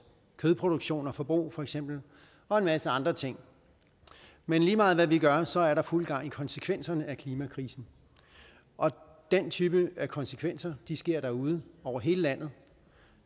kødproduktion og forbrug for eksempel og en masse andre ting men lige meget hvad vi gør så er der fuld gang i konsekvenserne af klimakrisen og den type af konsekvenser sker derude over hele landet